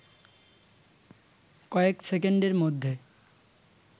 কয়েক সেকেন্ডের মধ্যে